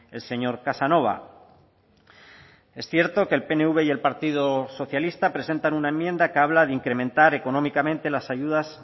el señor casanova es cierto que el pnv y el partido socialista presentan una enmienda que habla de incrementar económicamente las ayudas